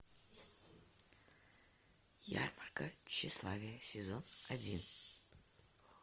ярмарка тщеславия сезон один